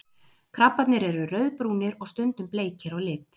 krabbarnir eru rauðbrúnir og stundum bleikir á lit